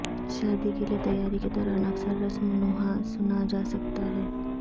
شادی کے لئے تیاری کے دوران اکثر رسم نوحہ سنا جا سکتا ہے